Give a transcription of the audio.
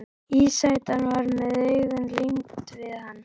Ísætan var með augun límd við hann.